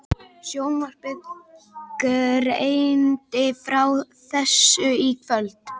Sjónvarpið greindi frá þessu í kvöld